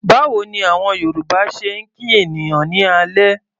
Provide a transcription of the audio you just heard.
Báwo ni àwọn Yorùbá ṣe ń kí ènìyàn ní alẹ́?